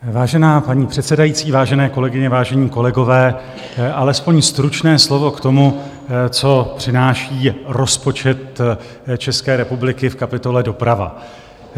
Vážená paní předsedající, vážené kolegyně, vážení kolegové, alespoň stručné slovo k tomu, co přináší rozpočet České republiky v kapitole Doprava.